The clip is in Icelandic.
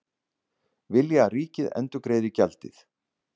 Vilja að ríkið endurgreiði gjaldið